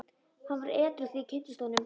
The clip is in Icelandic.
Hann var edrú þegar ég kynntist honum.